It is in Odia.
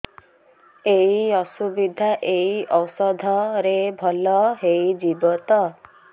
ଏଇ ଅସୁବିଧା ଏଇ ଔଷଧ ରେ ଭଲ ହେଇଯିବ ତ